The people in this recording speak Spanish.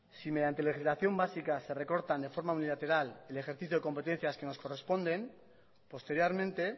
si mediante legislación básica se recortan de forma unilateral el ejercicio de competencias que nos corresponden posteriormente